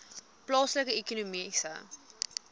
plaaslike ekonomiese